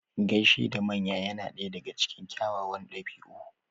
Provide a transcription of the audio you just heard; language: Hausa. Gaishe da manya yana daga cikin kyawawan ɗabi'u.